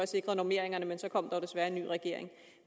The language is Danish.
sikret normeringerne men så kom der jo desværre en ny regering